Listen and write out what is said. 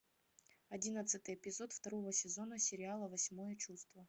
одиннадцатый эпизод второго сезона сериала восьмое чувство